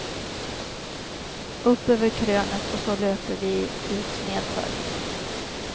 Upp över krönet och så löper vi ut nedför.